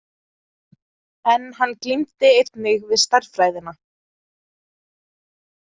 En hann glímdi einnig við stærðfræðina.